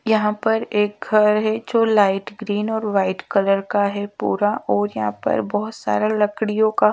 यहाँ पर एक घर है जो लाइट ग्रीन और वाइट कलर का है पूरा और यहाँ पर बहुत सारा लकड़ियों का--